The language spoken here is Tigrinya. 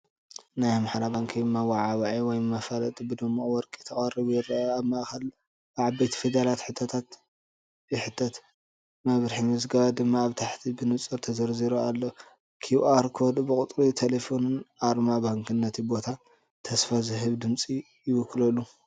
ናይ ኣምሓራ ባንኪ መወዓውዒ ወይ መፋለጢ ብድሙቕ ወርቂ ተቐሪቡ ይረአ፣ ኣብ ማእከል ብዓበይቲ ፊደላት ሕቶ ይሕተት፣ መምርሒ ምዝገባ ድማ ኣብ ታሕቲ ብንጹር ተዘርዚሩ ኣሎ። QR ኮድ፡ ቁጽሪ ተሌፎንን ኣርማ ባንክን ነቲ ቦታ ተስፋ ዝህብ ድምጺ ይውስኸሉ።